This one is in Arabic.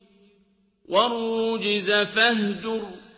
وَالرُّجْزَ فَاهْجُرْ